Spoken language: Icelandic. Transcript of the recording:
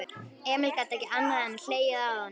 Emil gat ekki annað en hlegið að honum.